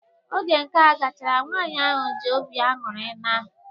Oge nka gachara, nwaanyị ahụ ji obi ańụri naa.